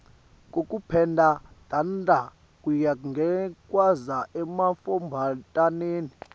kokupenda tandla kuya ngekwandza emantfombataneni